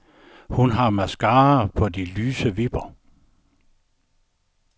Hun har mascara på de lyse vipper.